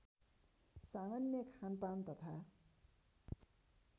सामान्य खानपान तथा